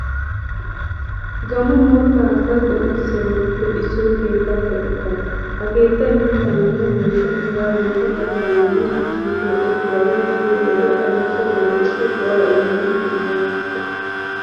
Gaammo moottaa asaa qonccissiyabatuppe issoy keettaa keexettaa. Ha keettay mittaaninne woyshshan, hegaadankka gattaaninne sussing keexettiyagaa gidiyo wode adussa wodiyassi go"aa immana danddayees.